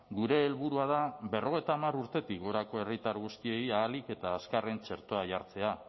gure helburua da berrogeita hamar urtetik gorako herritar guztiei ahalik eta azkarren txertoa jartzea